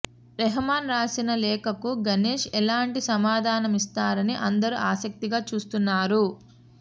రెహమాన్ రాసిన లేఖకు గణేశ్ ఎలాంటి సమాధానమిస్తారని అందరూ ఆసక్తిగా చూస్తున్నారు